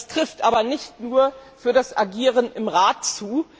trifft aber nicht nur für das Agieren im Rat zu.